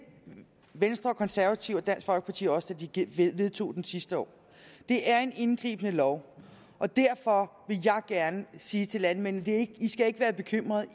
venstre og konservative og dansk folkeparti også da de de vedtog den sidste år det er en indgribende lov og derfor vil jeg gerne sige til landmændene at de ikke skal være bekymrede at